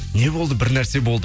не болды бір нәрсе болды